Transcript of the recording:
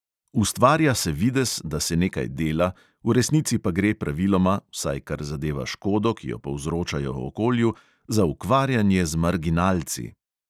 Ustvarja se videz, da se nekaj dela, v resnici pa gre praviloma, vsaj kar zadeva škodo, ki jo povzročajo okolju, za ukvarjanje z marginalci.